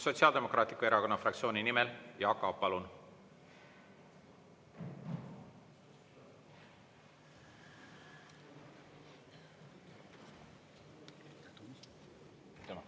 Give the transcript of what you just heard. Sotsiaaldemokraatliku Erakonna fraktsiooni nimel Jaak Aab, palun!